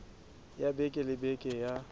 ya beke le beke ya